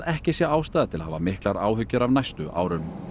ekki sé ástæða til að hafa miklar áhyggjur af næstu árum